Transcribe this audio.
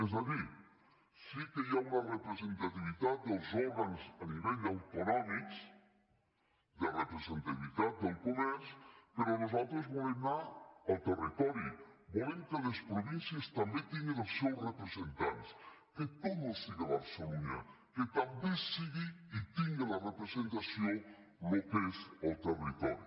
és a dir sí que hi ha una representativitat dels òrgans a nivell autonòmic de representativitat del comerç però nosaltres volem anar al territori volem que les províncies també tinguin els seus representants que tot no siga barcelunya que també sigui i tingui la representació el que és el territori